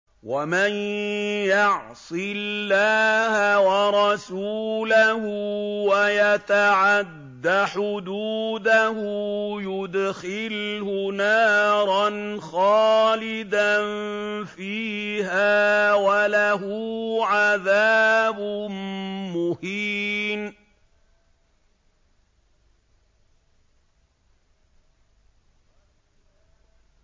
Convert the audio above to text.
وَمَن يَعْصِ اللَّهَ وَرَسُولَهُ وَيَتَعَدَّ حُدُودَهُ يُدْخِلْهُ نَارًا خَالِدًا فِيهَا وَلَهُ عَذَابٌ مُّهِينٌ